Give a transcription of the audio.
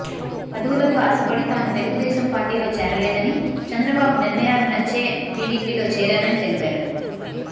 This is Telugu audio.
పదవులకు ఆశపడి తాను తెలుగుదేశం పార్టీలో చేరలేదని చంద్రబాబు నిర్ణయాలు నచ్చే టీడీపీలో చేరానని తెలిపారు